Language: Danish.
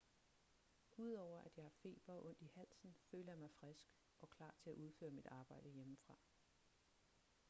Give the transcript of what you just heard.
udover at jeg har feber og ondt i halsen føler jeg mig frisk og klar til at udføre mit arbejde hjemmefra